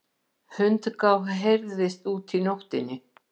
Hundgá heyrist úti í nóttinni.